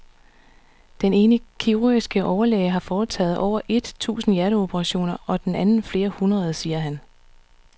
Den ene kirurgiske overlæge har foretaget over et tusind hjerteoperationer og den anden flere hundrede, siger han.